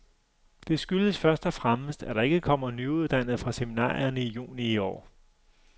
Det skyldes først og fremmest, at der ikke kommer nyuddannede fra seminarierne i juni i år.